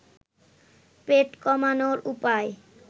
পেট কমানোর উপায়